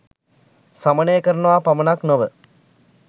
සමනය කරනවා පමණක් නොව